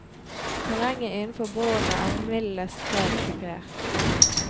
Terrenget innenfor båndene er mildest talt kupert.